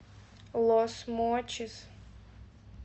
лос мочис